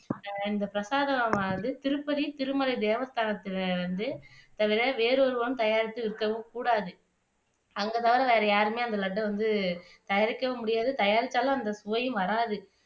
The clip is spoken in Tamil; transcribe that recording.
இந்த பிரசாதமானது திருப்பதி திருமலை தேவஸ்தானத்துல வந்து தவிர வேறு ஒருவரும் தயாரித்து விற்கவும் கூடாது அவங்க தவிர வேற யாருமே அந்த லட்டை வந்து தயாரிக்கவும் முடியாது தயாரித்தாலும் அந்த சுவையும் வராது